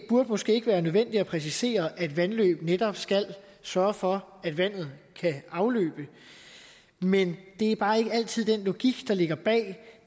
burde måske ikke være nødvendigt at præcisere at vandløb netop skal sørge for at vandet kan afløbe men det er bare ikke altid den logik der ligger bag